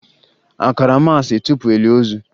A kara maasị tupu e lie ozu?